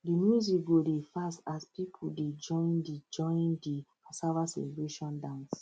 the music go dey fast as people dey join the join the cassava celebration dance